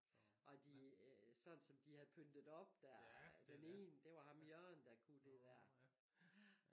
Og de sådan som de havde pyntet op der den ene det var ham Jørgen der kunne det der